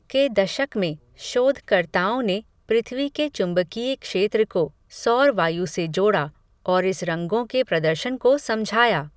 के दशक में, शोध कर्ताओं ने, पृथ्वी के चुम्बकीय क्षेत्र को, सौर वायु से जोड़ा, और इस रंगों के प्रदर्शन को समझाया